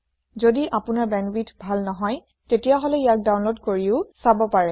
যদি আপোনাৰ বেণ্ডৱিডথ ভাল নহয় তেতিয়াহলে ইয়াক ডাউনলোড কৰিও চাব পাৰে